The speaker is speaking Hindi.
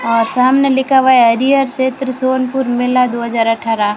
और सामने लिखा हुआ हरियर क्षेत्र सोनपुर मेला दो हजार अठारह।